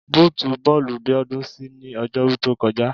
Bóòtù bọ́ọ̀lù Bíọ́dún ṣí ní Ọjọ́rú tó kọjá